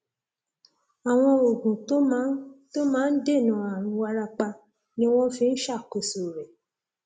àwọn oògùn tó máa ń tó máa ń dènà ààrùn wárápá ni wọn fi ń ṣàkóso rẹ